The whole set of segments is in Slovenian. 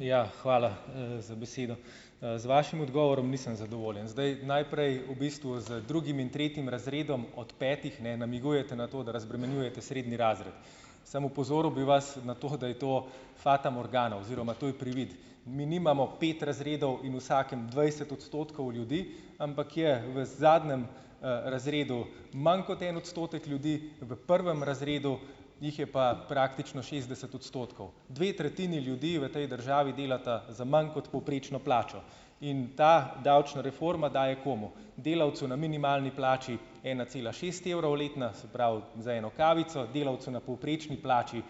ja, hvala, za besedo. z vašim odgovorom nisem zadovoljen. Zdaj, najprej, v bistvu z drugim in tretjim razredom od petih, ne, namigujete na to, da razbremenjujete srednji razred. Samo opozoril bi vas na to, da je to fata morgana oziroma to je privid . Mi nimamo pet razredov in vsakem dvajset odstotkov ljudi, ampak je v zadnjem, razredu manj kot en odstotek ljudi, v prvem razredu jih je pa praktično šestdeset odstotkov. Dve tretjini ljudi v tej državi delata za manj kot povprečno plačo. In ta davčna reforma daje komu? Delavcu na minimalni plači ena cela šest evrov letno, se pravi za eno kavico, delavcu na povprečni plači, ,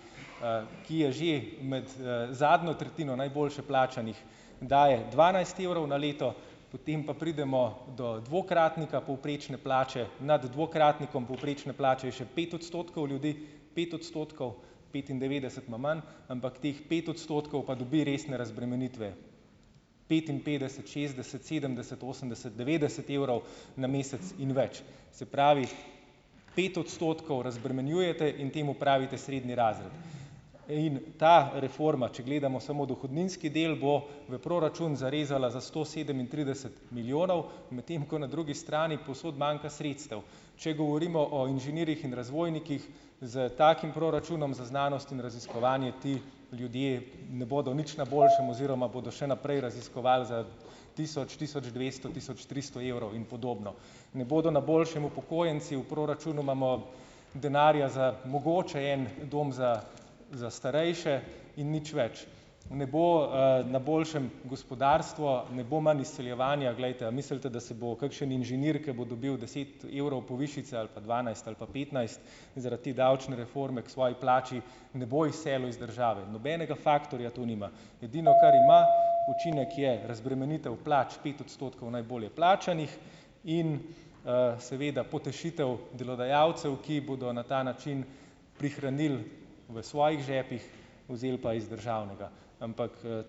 ki je že med, zadnjo tretjino najboljše plačanih, daje dvanajst evrov na leto, potem pa pridemo do dvakratnika povprečne plače. Nad dvakratnikom povprečne plače je še pet odstotkov ljudi, pet odstotkov, petindevetdeset ima manj, ampak teh pet odstotkov pa dobi resne razbremenitve. Petinpetdeset, šestdeset, sedemdeset, osemdeset, devetdeset evrov na mesec in več. Se pravi , pet odstotkov razbremenjujete in temu pravite srednji razred. In, ta reforma, če gledamo samo dohodninski del, bo v proračun zarezala za sto sedemintrideset milijonov, medtem ko na drugi strani povsod manjka sredstev. Če govorimo o inženirjih in razvojnikih s takim proračunom za znanost in raziskovanje , ti ljudje ne bodo nič na boljšem oziroma bodo še naprej raziskovali za tisoč, tisoč dvesto, tisoč tristo evrov in podobno. Ne bodo na boljšem upokojenci. V proračunu imamo denarja za mogoče en dom za, za starejše in nič več. Ne bo, na boljšem gospodarstvo, ne bo manj izseljevanja. Glejte, a mislite, da se bo kakšen inženir, ko bo dobil deset evrov povišice ali pa dvanajst ali pa petnajst, zaradi te davčne reforme k svoji plači, ne bo izselil iz države? Nobenega faktorja to nima. Edino, kar ima učinek, je razbremenitev plač pet odstotkov najbolje plačanih in, seveda potešitev delodajalcev, ki bodo na ta način prihranili v svojih žepih, vzeli pa iz državnega. Ampak, ...